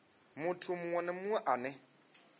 muthu munwe na munwe ane